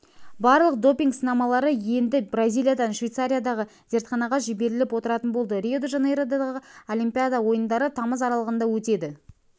барлық допинг сынамалары енді бразилиядан швейцариядағы зертханаға жіберіліп отыратын болды рио-де-жанейродағы олимпиада ойындары тамыз аралығында өтеді